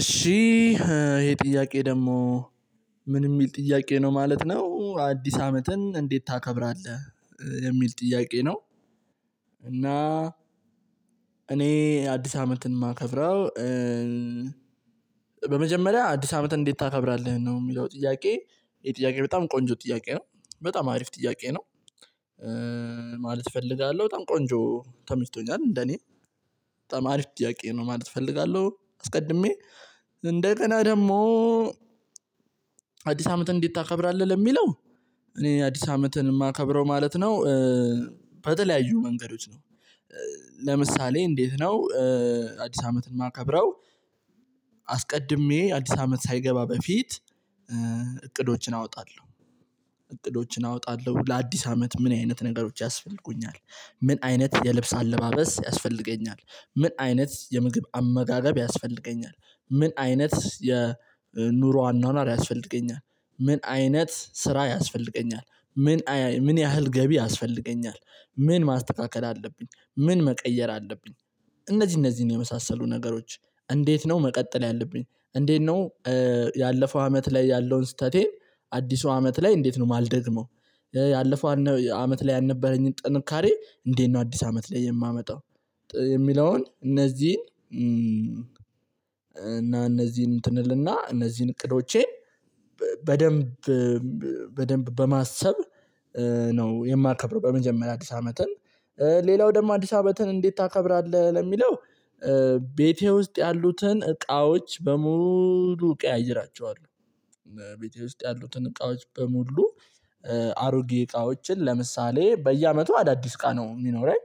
እሺ ይሄ ጥያቄ ደግሞ ምን የሚል ጥያቄ ነው ማለት ነው? አዲስ አመትን እንዴት ታከብራለህ የሚል ጥያቄ ነው። እና አዲስ አመትን የማከብረው በመጀመሪያ አዲስ አመትን እንዴት ታከብራለህ ነው የሚለው ጥያቄ? ይሄ ጥያቄ በጣም ቆንጆ ጥያቄ ነው። በጣም አሪፍ ጥያቄ ነው። ማለት እፈልጋለሁ በጣም ቆንጆ ተመችቶኛል እንደኔ በጣም አሪፍ ጥያቄ ነው ማለት እፈልጋለሁ። አስቀድሜ እንደ ገና ደግሞ አዲስ አመት እንዴት ታከብራለህ ለሚለው እኔ አዲስ አመትን የማከብረው ማለት ነው። በተለያዩ መንገዶች ነው። ለምሳሌ እንዴት ነው? አዲስ አመትን ማከብረው? አስቀድሜ አዲስ አመት ሳይገባ በፊት እቅዶችን አወጣለሁ። እቅዶችን አወጣለሁ ለአዲስ አመት ምን አይነት ነገሮች ያስፈልጉኛል። ምን አይነት የልብስ አለባበስ ያስፈልገኛል። ምን አይነት የምግብ አመጋገብ ያስፈልገኛል። ምን አይነት የኑሮ አኗኗር ያስፈልገኛል። ምን አይነት ስራ ያስፈልገኛል። ምን ምን ያህል ገቢ ያስፈልገኛል። ምን ማስተካከል አለብኝ ምን መቀየር አለብኝ። እነዚህ እነዚህን የመሳሰሉ ነገሮች እንዴት ነው መቀጠል ያለብኝ። እንዴት ነው? ያለፈው አመት ላይ ያለውን ስህተቴ አዲሱ አመት ላይ እንዴት ነው ማልደግመው። ያለፈው አመት ላይ ያልነበረኝን ጥንካሬ እንዴት ነው አዲስ አመት ላይ የማመጣው። የሚለውን እነዚህን እነዚህን እንትን እል እና እነዚህን እቅዶቼን በደንብ በደንብ በማሰብ ነው የማከብረው። በመጀመሪያ አዲስ አመትን ሌላው ደግሞ አዲስ አመትን እንዴት ታከብራለህ ለሚለው ቤቴ ውስጥ ያሉትን እቃዎች በሙሉ ቀያይራቸዋለሁ። ቤቴ ውስጥ ያሉትን እቃዎች በሙሉ አሮጌ እቃዎችን ለምሳሌ በየአመቱ አዳዲስ እቃ ነው የሚኖረኝ።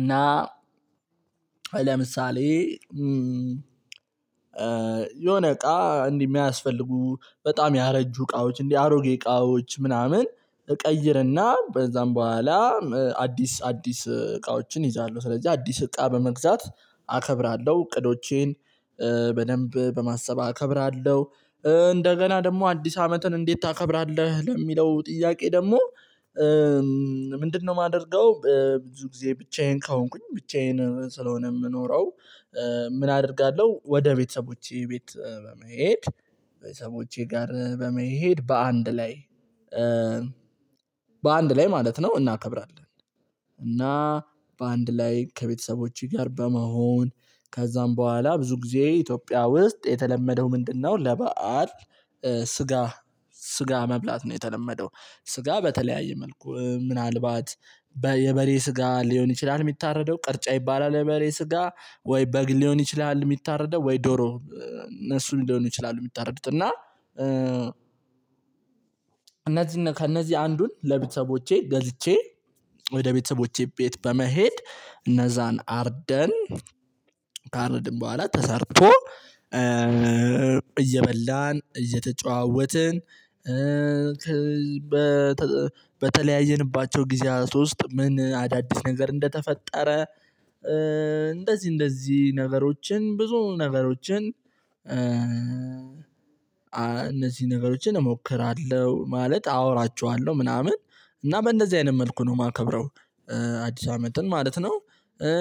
እና ለምሳሌ የሆነ እቃ እንዲ ሚያስፈልጉ በጣም ያረጁ እቃዎች እንዲ አሮጌ እቃዎች ምናምን እቀይርና በዛም በኋላ አዲስ እቃዎችን ይዣለሁ። ስለዚህ አዲስ እቃ በመግዛት አከብራለሁ እቅዶቼን በደንብ በማሰብ አከብራለሁ። እንደገና ደግሞ አዲስ አመትን እንዴት ታከብራለህ ለሚለው ጥያቄ ደግሞ ምንድነው የማደርገው ብዙ ጊዜ ብቻዬን ከሆንኩኝ ብቻዬን ስለሆነ የምኖረው። ምን አደርጋለሁ ወደ ቤተሰቦቼ ቤት በመሄድ። ቤተሰቦቼ ጋር በመሄድ በአንድ ላይ በአንድ ላይ ማለት ነው እናከብራለን። እና በአንድ ላይ ከቤተሰቦቼ ጋር በመሆን ከዛም በኋላ ብዙ ጊዜ ኢትዮጵያ ውስጥ የተለመደው ምንድነው ለበአል? ስጋ ስጋ መብላት ነው የተለመደው። ስጋ በተለያየ መልኩ ምናልባት የበሬ ስጋ ሊሆን ይችላል የሚታረደው ቅርጫ ይባላል። የበሬ ስጋ ወይ በግ ሊሆን ይችላል። የሚታረደው ወይ ዶሮ እነሱ ሊሆን ይችላል። የሚታረዱት እና እነዚህን ከእነዚህ አንዱን ለቤተሰቦቼ ገዝቼ ወደ ቤተሰቦቼ ቤት በመሄድ እነዛን አርደን ካረድን በኋላ ተሰርቶ እየበላን እየተጨዋወትን። በተለያየንባቸው ጊዜያት ውስጥ ምን አዳዲስ ነገር እንደተፈጠረ። እንደዚህ እንደዚህ ነገሮችን ብዙ ነገሮችን እነዚህ ነገሮችን እሞክራለሁ ማለት አወራቸዋለሁ ምናምን እና በእንደዚህ አይነት መልኩ ነው የማከብረው። አዲስ አመትን ማለት ነው።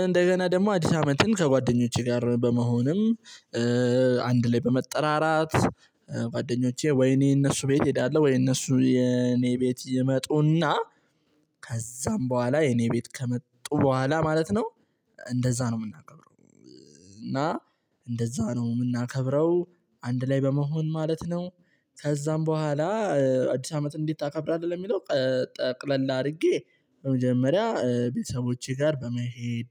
እንደገና ደግሞ አዲስ አመትን ከጓደኞቼ ጋር በመሆንም አንድ ላይ በመጠራራት ጓደኞቼ ወይኔ እነሱ ቤት እሄዳለሁ። ወይ እነሱ የኔ ቤት ይመጡና ከዛም በኋላ የኔ ቤት ከመጡ በኋላ ማለት ነው። እንደዛ ነው የምናገረው። እና እንደዛ ነው የምናከብረው አንድ ላይ በመሆን ማለት ነው። ከዛም በኋላ አዲስ አመት እንዴት ታከብራለህ ለሚለው? ጠቅለል አድርጌ በመጀመሪያ ቤተሰቦቼ ጋር በመሄድ።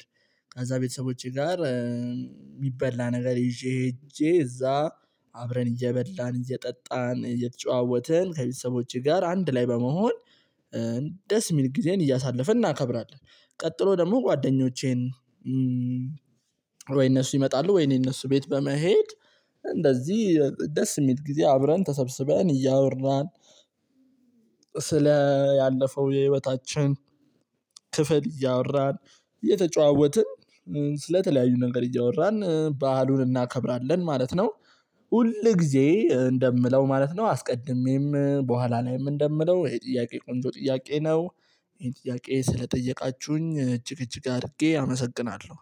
ከዛ ቤተሰቦቼ ጋር የሚበላ ነገር ይዤ ሄጄ እዛ አብረን እየበላን እየጠጣን እየተጨዋወትን ከቤተሰቦቼ ጋር አንድ ላይ በመሆን ደስ የሚል ጊዜን እያሳለፈ እናከብራለን። ቀጥሎ ደግሞ ጓደኞቼን ወይ እነሱ ይመጣሉ ወይ እኔ እነሱ ቤት በመሄድ። እንደዚህ ደስ የሚል ጊዜ አብረን ተሰብስበን እያወራን። ስለ ያለፈው የህይወታችን ክፍል እያወራን እየተጨዋወትን ስለተለያዩ ነገር እያወራን ባህሉን እናከብራለን ማለት ነው። ሁል ጊዜ እንደምለው ማለት ነው አስቀድሜም በኋላ ላይም እንደምለው ይሄ ጥያቄ ቆንጆ ጥያቄ ነው። ይሄን ጥያቄ ስለጠየቃችሁኝ እጅግ እጅግ አድርጌ አመሰግናለሁ